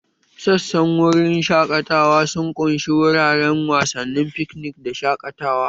Sassan wurin shaƙatawa sun ƙunshi wuraren wasanni, fikinik da shaƙatawa